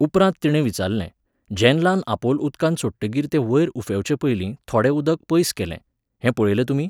उपरांत तिणें विचारलें, जॅन्लान आपोल उदकांत सोडटकीर तें वयर उफेंवचेपयलीं थोडें उदक पयस केलें, हें पळयलें तुमी?